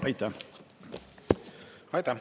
Aitäh!